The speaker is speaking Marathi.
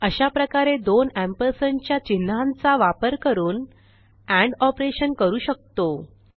अशाप्रकारे दोन एम्परसँड च्या चिन्हांचा वापर करून एंड ऑपरेशन करू शकतो